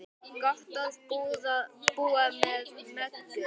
Gott að búa með Möggu.